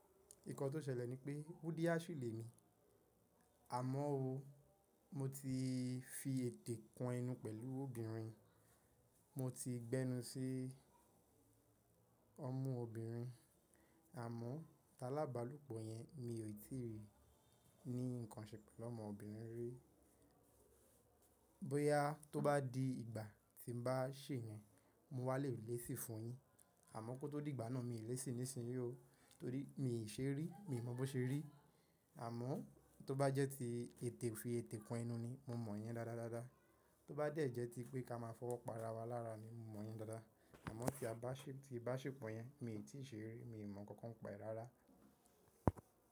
Ìkan tó ṣẹlẹ̀ ni pé Buddha lemi, àmọ́ o, mo ti fi ètè kan enú pẹ̀lú obìnrin, mo ti gbẹ́nu sí ọmu obìnrin, àmọ́ tálábálopọ̀ yẹn mi ò tí ì rí, ní nǹkan ṣe pẹ̀lú ọmọ obìnrin rí. Boya tó bá di ìgbà tí mo bá ṣè yẹn, mo wá lè lèṣi fún yín, àmọ́ kó tó di ìgbà náà mi ò lè ṣìí nísìnyí ó, torí mi ò ṣe rí, mi ò mọ̀ bó ṣe rí. Àmọ́ tó bá jẹ́ tí ètè fi ètè kan enú ni, mo mọ̀ yẹn dáadáa. Tó bá jẹ́ ti pé ká máa fọwọ́ pa ara wa lára ni mo mọ̀ yẹn dáadáa. Àmọ́ tí a bá ṣèpọ̀ yẹn mi ò tí ṣe rí, mi ò mọ̀ nkankan pa e rára.